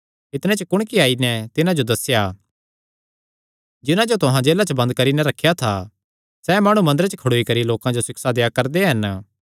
इतणे च कुणकी आई नैं तिन्हां जो दस्सेया दिक्खा जिन्हां जो तुहां जेला च बंद करी नैं रखेया था सैह़ माणु मंदरे च खड़ोई करी लोकां जो सिक्षा देआ करदे हन